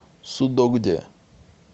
судогде